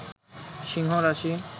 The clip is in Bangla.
সিংহ রাশি